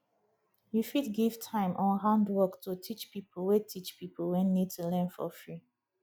you fit give time or handwork to teach pipo wey teach pipo wey need to learn for free